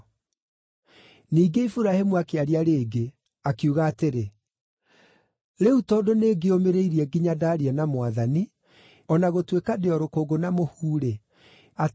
Ningĩ Iburahĩmu akĩaria rĩngĩ, akiuga atĩrĩ: “Rĩu tondũ nĩngĩĩũmĩrĩirie nginya ndaaria na Mwathani, o na gũtuĩka ndĩ o rũkũngũ na mũhu-rĩ, atĩrĩ,